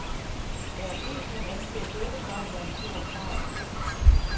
Der er en del, som anser dette for at være en stor sejr.